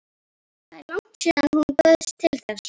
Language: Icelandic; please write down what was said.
Það er langt síðan hún bauðst til þess.